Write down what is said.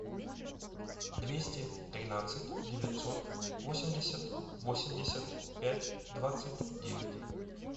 двести тринадцать девятьсот восемьдесят восемьдесят пять двадцать девять